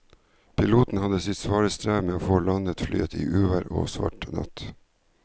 Piloten hadde sitt svare strev med å få landet flyet i uvær og svart natt.